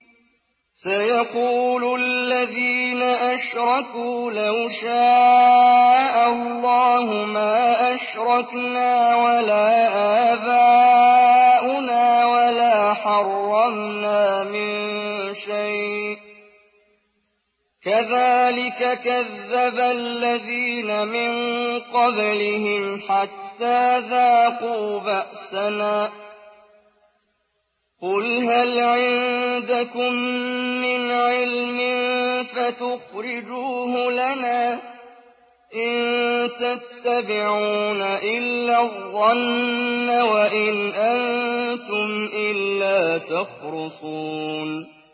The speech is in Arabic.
سَيَقُولُ الَّذِينَ أَشْرَكُوا لَوْ شَاءَ اللَّهُ مَا أَشْرَكْنَا وَلَا آبَاؤُنَا وَلَا حَرَّمْنَا مِن شَيْءٍ ۚ كَذَٰلِكَ كَذَّبَ الَّذِينَ مِن قَبْلِهِمْ حَتَّىٰ ذَاقُوا بَأْسَنَا ۗ قُلْ هَلْ عِندَكُم مِّنْ عِلْمٍ فَتُخْرِجُوهُ لَنَا ۖ إِن تَتَّبِعُونَ إِلَّا الظَّنَّ وَإِنْ أَنتُمْ إِلَّا تَخْرُصُونَ